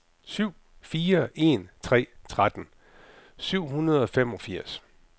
syv fire en tre tretten syv hundrede og femogfirs